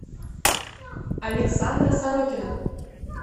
александра сорокина